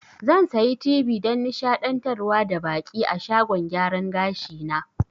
Zan sayi tibi dan nishaɗantar da baƙi a shagon gyaran gashi na